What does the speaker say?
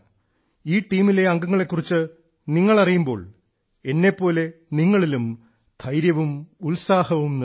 ഈ ടീമിലെ അംഗങ്ങളെ കുറിച്ച് അറിയുമ്പോൾ എന്നെപ്പോലെ നിങ്ങളിലും ധൈര്യവും ഉത്സാഹവും നിറയും